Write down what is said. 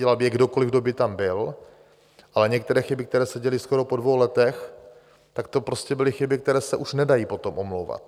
Dělal by je kdokoliv, kdo by tam byl, ale některé chyby, které se děly skoro po dvou letech, tak to prostě byly chyby, které se už nedají potom omlouvat.